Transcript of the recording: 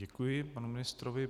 Děkuji panu ministrovi.